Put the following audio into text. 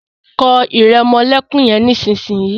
kọ iremolekun yén nísìsiyìí!